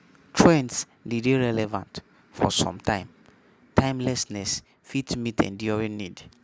Trends de dey relevant for some time, timelessness fit meet enduring need